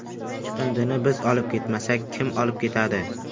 Chiqindini biz olib ketmasak, kim olib ketadi?